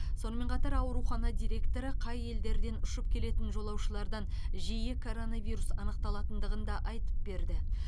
сонымен қатар аурухана директоры қай елдерден ұшып келетін жолаушылардан жиі коронавирус анықталатындығын да айтып берді